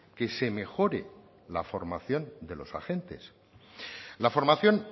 que se mejore la formación de los agentes la formación